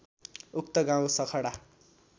उक्त गाउँ सखडा